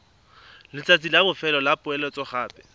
letsatsi la bofelo la poeletsogape